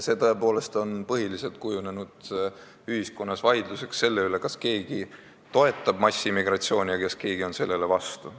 Sellest on tõepoolest kujunenud põhiliselt ühiskondlik vaidlus selle üle, kas keegi toetab massimigratsiooni ja kas keegi on sellele vastu.